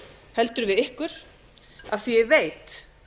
heldur við ykkur af því að ég veit